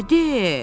Belə de.